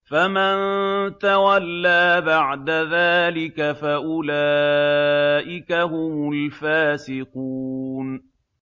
فَمَن تَوَلَّىٰ بَعْدَ ذَٰلِكَ فَأُولَٰئِكَ هُمُ الْفَاسِقُونَ